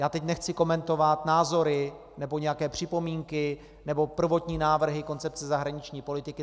Já teď nechci komentovat názory nebo nějaké připomínky nebo prvotní návrhy koncepce zahraniční politiky.